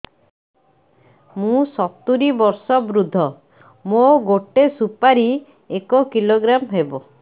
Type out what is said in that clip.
ମୁଁ ସତୂରୀ ବର୍ଷ ବୃଦ୍ଧ ମୋ ଗୋଟେ ସୁପାରି ଏକ କିଲୋଗ୍ରାମ ହେବ